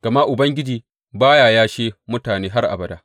Gama Ubangiji ba ya yashe mutane har abada.